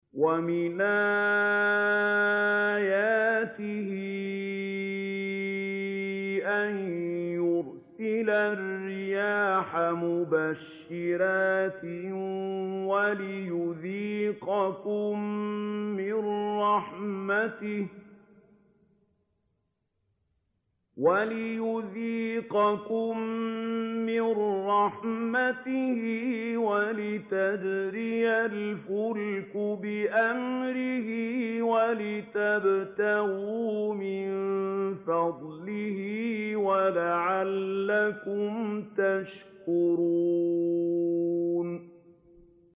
وَمِنْ آيَاتِهِ أَن يُرْسِلَ الرِّيَاحَ مُبَشِّرَاتٍ وَلِيُذِيقَكُم مِّن رَّحْمَتِهِ وَلِتَجْرِيَ الْفُلْكُ بِأَمْرِهِ وَلِتَبْتَغُوا مِن فَضْلِهِ وَلَعَلَّكُمْ تَشْكُرُونَ